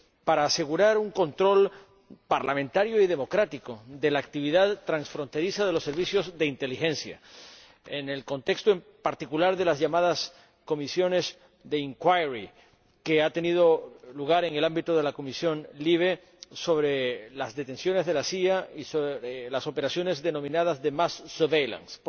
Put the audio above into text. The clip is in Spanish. y para asegurar un control parlamentario y democrático de la actividad transfronteriza de los servicios de inteligencia, en el contexto, en particular, de las llamadas comisiones de inquiry que han tenido lugar en el ámbito de la comisión LIBE sobre las detenciones de la CIA y las operaciones denominadas de mass surveillance